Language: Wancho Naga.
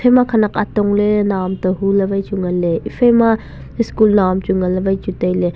ma khanak atong le nauam te hu le wai chu ngan le ephai ma school nauam chu ngan le wai chu taile.